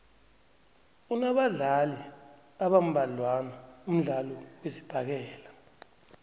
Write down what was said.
unabadlali abambadlwana umdlalo wesibhakela